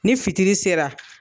Ni fitiri sera